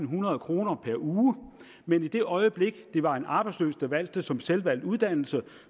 hundrede kroner per uge men i det øjeblik det var en arbejdsløs der valgte det som selvvalgt uddannelse